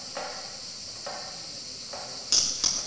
omunye nomunye umsolwa